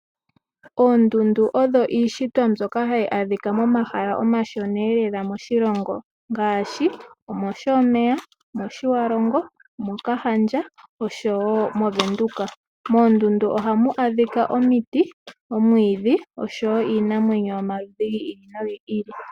Oondundu odho iishitwa mbyoka hayi adhika momahala omashona elela moshilongo ngaashi mOshomeya, mOthiwarongo, mOkahandja oshowo mOvenduka. Moondundu ohamu adhika omiti, oomwiidhi oshowo iinamwenyo yomaludhi gi ili nogi ili.